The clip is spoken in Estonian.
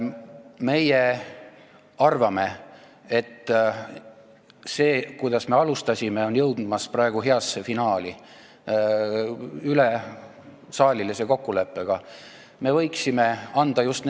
Meie arvame, et see, mida me alustasime, on praegu ülesaalilise kokkuleppega heasse finaali jõudmas.